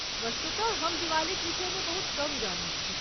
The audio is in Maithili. वस्तुतः, हम दिवालीक विषयमे बहुत कम जनैत छी।